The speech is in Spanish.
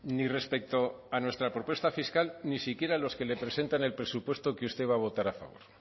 ni respecto a nuestra propuesta fiscal ni siquiera a los que le presentan el presupuesto que usted va a votar a favor